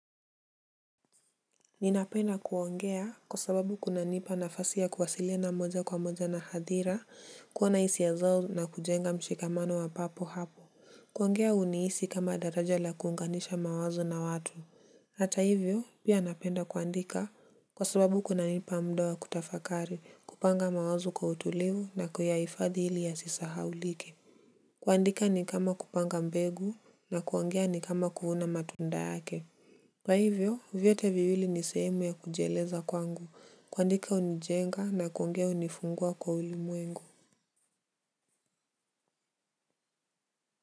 Ninapenda kuongea kwa sababu kunanipa nafasi ya kuwasilina moja kwa moja na hadhira kuona hisia ya zao na kujenga mshikamano wa papo hapo. Kuongea unihisi kama daraja la kuunganisha mawazo na watu. Hata hivyo pia napenda kuandika kwa sababu kunanipa muda wa kutafakari kupanga mawazo kwa utulivu na kuyahifadhi ili yasisahaulike. Kuandika ni kama kupanga mbegu na kuongea ni kama kuvuna matunda yake kwa hivyo, vyote viwili ni sehemu ya kujeleza kwangu. Kuandika hunijenga na kuongea hunifungua kwa ulimwengu.